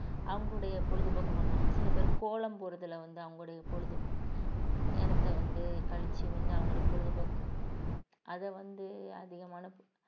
அவங்களுடைய பொழுதுபோக்கு பண்ணுவாங்க சில பேர் கோலம் போடுறதுல வந்து அவங்களுடைய பொழுது நேரத்தை வந்து கழிச்சு வந்து அவங்களுடைய பொழுதுபோக்கு அதை வந்து அதிகமான